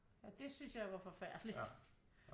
Ja det synes jeg var forfærdeligt